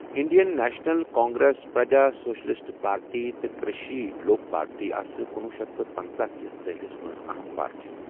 Indian National Congress, Praja Socialist Party تہٕ Krishi Lok Party آسہٕ کنُۄہ شیتھ پنژاہ كِس دہِلِس منز اہم پارٹی۔